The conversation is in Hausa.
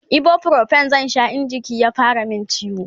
ibuprofen zan Sha in jiki ya fara min ciwo